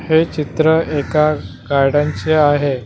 हे चित्र एका गाड्यांचे आहे.